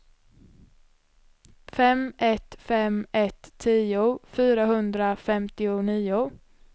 fem ett fem ett tio fyrahundrafemtionio